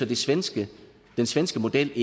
den svenske svenske model